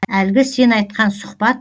әлгі сен айтқан сұхбат